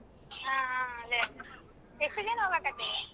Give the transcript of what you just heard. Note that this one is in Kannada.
ಆ ಆ ಅದೇ. ಎಷ್ಟು ಜನ ಹೋಗಕತ್ತೆ?